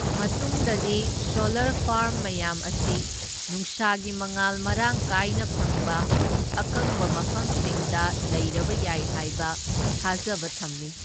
ꯃꯥꯇꯨꯡꯗꯗꯤ solar farm ꯃꯌꯥꯝ ꯑꯁꯤ ꯅꯨꯡꯁꯥꯒꯤ ꯃꯉꯥꯜ ꯃꯔꯥꯡ ꯀꯥꯏꯅ ꯐꯪꯕ ꯑꯀꯪꯕ ꯃꯐꯝꯁꯤꯡꯗ ꯂꯩꯔꯕ ꯌꯥꯏ ꯍꯥꯏꯕ ꯊꯥꯖꯕ ꯊꯝꯃꯤ꯫